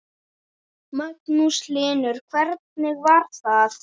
Magnús Hlynur: Hvernig var það?